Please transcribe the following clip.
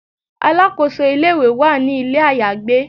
Alakoso ile-iwe wa ni ile ayagbe